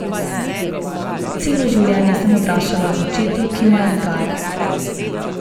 Celo življenje sem odraščala ob očetu, ki me je vzgajal.